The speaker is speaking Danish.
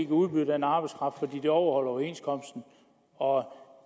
udbyde arbejdskraften til de overholder overenskomsten og når